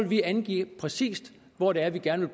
vi angive præcis hvor det er at vi gerne